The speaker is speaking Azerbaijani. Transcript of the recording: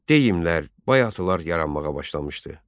Deyimlər, bayatılar yaranmağa başlamışdı.